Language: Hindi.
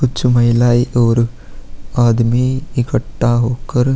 कुछ महिलाएं और कुछ आदमी इकट्ठा होकर--